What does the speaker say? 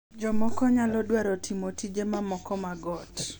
Jomoko nyalo dwaro timo tije mamoko mag ot .